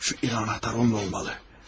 Şu iri anahtar onda olmalı.